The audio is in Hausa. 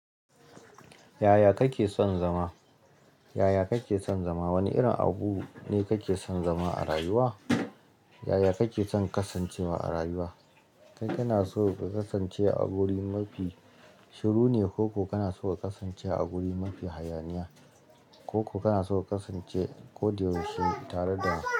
Yaya kake son zama? Yaya kake son zama? Wani irin abu ne kake son zama a rayuwa? Yaya kake son kasancewa a rayuwa? Kai kana so ka kasance a wuri mafi shiru ne, ko kana so ka kasance a wuri mafi hayaniya? Ko kana so ka kasance ko da yaushe tare da.